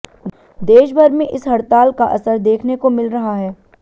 देशभर में इस हड़ताल का असर देखने को मिल रहा है